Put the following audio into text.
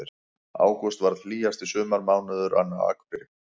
Ágúst varð hlýjasti sumarmánuðurinn á Akureyri